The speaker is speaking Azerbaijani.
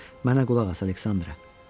Mənə qulaq as, Aleksandra.